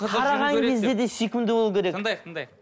қараған кезде де сүйкімді болу керек тыңдайық тыңдайық